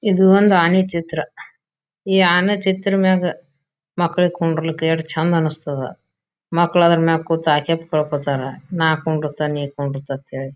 ಇದು ಒಂದು ಆನೆ ಚಿತ್ರ ಈ ಆನೆ ಚಿತ್ರ ಮ್ಯಾಗ್ ಮಕ್ಕಳ್ ಕುಂಡ್ರಲಿಕ್ಕ ಯೇಟ್ ಚೆಂದ ಅನ್ಸ್ತದ. ಮಕ್ಳು ಅದ್ರ ಮ್ಯಾಗ್ ಕೂತು ನಾ ಕುಂದ್ರುತೇನ್ ನೀ ಕುಂದ್ರುತಿ ಅಂತ ಹೇಳಿ.